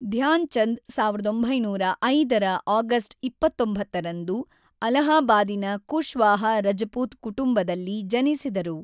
ಧ್ಯಾನ್ ಚಂದ್ ೧೯೦೫ರ ಆಗಸ್ಟ್ ೨೯ರಂದು ಅಲಹಾಬಾದಿನ ಕುಶ್ವಾಹ ರಜಪೂತ್ ಕುಟುಂಬದಲ್ಲಿ ಜನಿಸಿದರು.